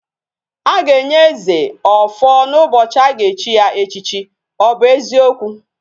Aga enye eze, ofo na ubochi aga echi ya echichi. o bu eziokwu?